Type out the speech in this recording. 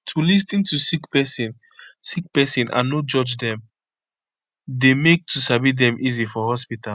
to lis ten to sick pesin sick pesin and no judge dem dey make to sabi dem easy for hospitol